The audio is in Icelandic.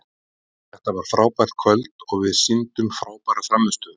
Þetta var frábært kvöld og við sýndum frábæra frammistöðu.